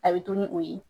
A bɛ to ni o ye